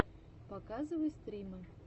показывай стримы